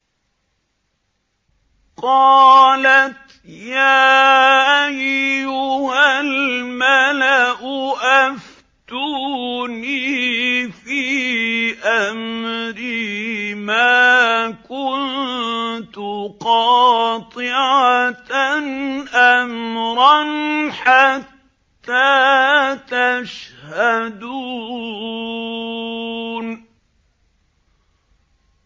قَالَتْ يَا أَيُّهَا الْمَلَأُ أَفْتُونِي فِي أَمْرِي مَا كُنتُ قَاطِعَةً أَمْرًا حَتَّىٰ تَشْهَدُونِ